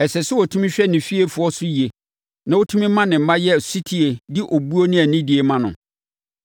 Ɛsɛ sɛ ɔtumi hwɛ ne fiefoɔ so yie na ɔtumi ma ne mma yɛ ɔsetie de obuo ne anidie ma no.